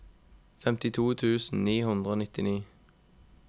femtito tusen ni hundre og nittini